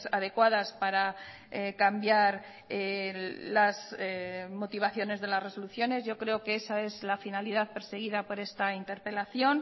adecuadas para cambiar las motivaciones de las resoluciones yo creo que esa es la finalidad perseguida por esta interpelación